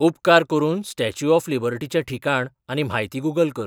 उपकार करून statue of लिबर्टीचें ठिकाण आनी म्हायती गुगल कर